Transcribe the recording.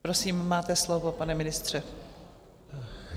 Prosím, máte slovo, pane ministře.